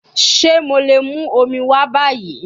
Ṣe mo le mu omi wa bayi?